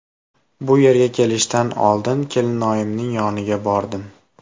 Bu yerga kelishdan oldin kelinoyimning yoniga bordim.